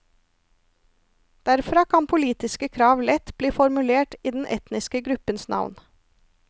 Derfra kan politiske krav lett bli formulert i den etniske gruppens navn.